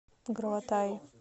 граватаи